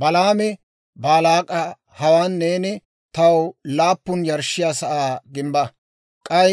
Balaami Baalaak'a, «Hawaan neeni taw laappun yarshshiyaa sa'aa gimbba; k'ay